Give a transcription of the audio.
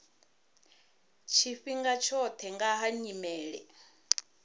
tshifhinga tshoṱhe nga ha nyimele